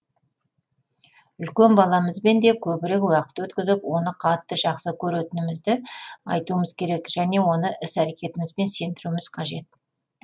үлкен баламызбен де көбірек уақыт өткізіп оны қатты жақсы көретінімізді айтуымыз керек және оны іс әрекетімізбен сездіруіміз қажет